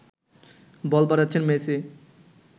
বল পাঠাচ্ছেন মেসি